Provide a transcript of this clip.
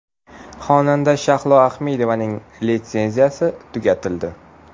Xonanda Shahlo Ahmedovaning litsenziyasi tugatildi.